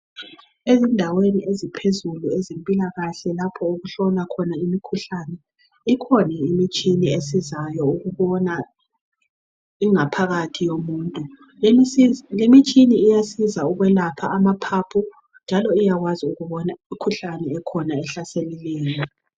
Endaweni eziphezulu ezempilakahle lapho kuhlolwa khona imikhuhlane ikhona imitshina esizayo ukubona ingaphakathi yomuntu lemitshina iyasiza ukwelapha amaphaphu njalo iyakwazi ukubona imikhuhlane ekhona ehlaselileyo.